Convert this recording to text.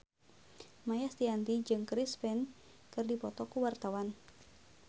Maia Estianty jeung Chris Pane keur dipoto ku wartawan